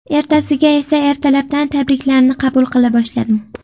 Ertasiga esa ertalabdan tabriklarni qabul qila boshladim.